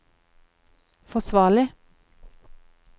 forsvarlig